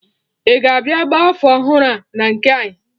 Ị ga-abịa gba afọ ọhụrụ a na nke anyị?